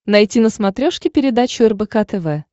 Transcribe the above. найти на смотрешке передачу рбк тв